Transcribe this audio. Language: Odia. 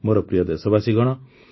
ମୋର ପ୍ରିୟ ଦେଶବାସୀଗଣ